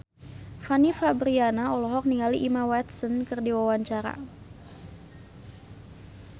Fanny Fabriana olohok ningali Emma Watson keur diwawancara